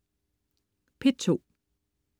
P2: